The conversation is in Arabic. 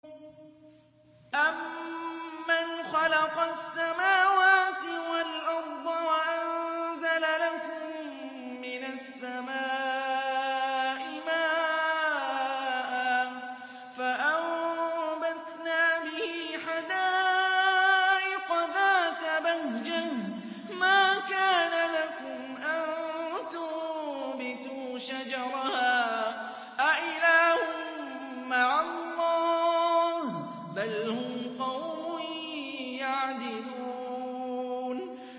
أَمَّنْ خَلَقَ السَّمَاوَاتِ وَالْأَرْضَ وَأَنزَلَ لَكُم مِّنَ السَّمَاءِ مَاءً فَأَنبَتْنَا بِهِ حَدَائِقَ ذَاتَ بَهْجَةٍ مَّا كَانَ لَكُمْ أَن تُنبِتُوا شَجَرَهَا ۗ أَإِلَٰهٌ مَّعَ اللَّهِ ۚ بَلْ هُمْ قَوْمٌ يَعْدِلُونَ